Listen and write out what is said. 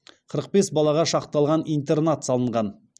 қырық бес балаға шақталған интернат салынған